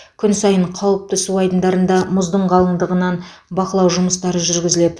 күн сайын қауіпті су айдындарында мұздың қалыңдығынан бақылау жұмыстары жүргізіледі